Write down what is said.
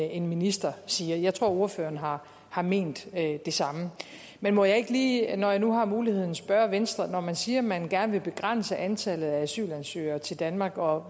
en minister siger jeg tror ordføreren har har ment det samme men må jeg ikke lige når jeg nu har muligheden spørge venstre når man siger at man gerne vil begrænse antallet af asylansøgere til danmark og